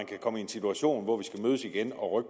kan komme i en situation hvor vi skal mødes igen og